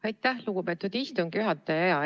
Aitäh, lugupeetud istungi juhataja!